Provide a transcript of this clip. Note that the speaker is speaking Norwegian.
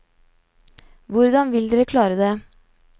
Hvordan vil dere klare det?